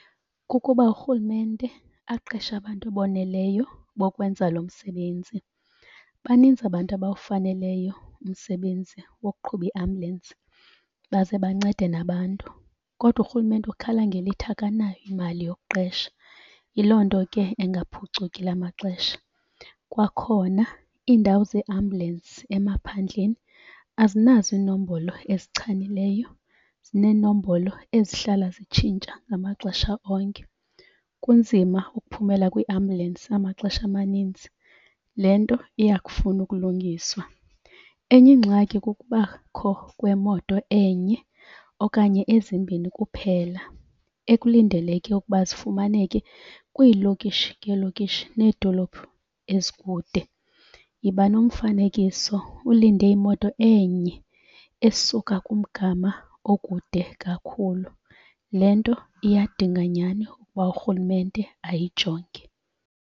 Kukuba urhulumente aqeshe abantu aboneleyo bokwenza lo msebenzi. Baninzi abantu abawufaneleyo umsebenzi wokuqhuba iambulensibaze bancede nabantu. Kodwa urhulumente ukhala ngelithi akanayo imali yokuqesha, yiloo nto ke engaphucuki la maxesha. Kwakhona iindawo zeeambulensi emaphandleni azinazo iinombolo ezichanileyo, zinenombolo ezihlala zitshintsha ngamaxesha onke. Kunzima ukuphumela kwiambulensi amaxesha amaninzi, le nto iyakufuna ukulungiswa. Enye ingxaki kukubakho kwemoto enye okanye ezimbini kuphela ekulindeleke ukuba zifumaneke kwiilokishi ngeelokishi needolophu ezikude. Yiba nomfanekiso ulinde imoto enye esuka kumgama okude kakhulu, le nto iyadinga nyani ukuba urhulumente ayijonge.